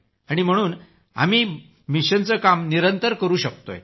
आणि म्हणूनच आम्ही या मिशनचं काम निरंतर करू शकतोय